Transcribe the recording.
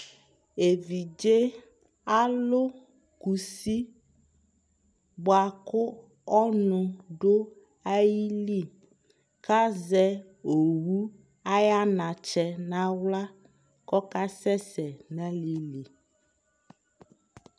ɛvidzɛ alʋ kʋsi bʋakʋ ɔnʋ dʋali, kʋ azɛ ɔwʋ aya anatsɛ nʋ ala kʋ ɔkasɛsɛ nʋ alaili